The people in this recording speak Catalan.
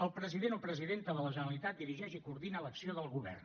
el president o presidenta de la generalitat dirigeix i coordina l’acció del govern